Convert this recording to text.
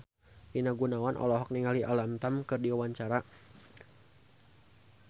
Rina Gunawan olohok ningali Alam Tam keur diwawancara